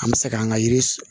An bɛ se k'an ka yiri